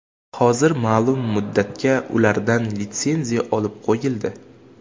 Hozir ma’lum muddatga ulardan litsenziya olib qo‘yildi.